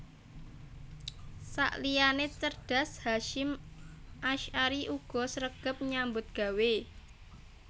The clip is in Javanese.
Sakliyané cerdas Hasyim Asy ari uga sregep nyambut gawé